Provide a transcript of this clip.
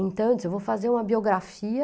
Então, eu disse, eu vou fazer uma biografia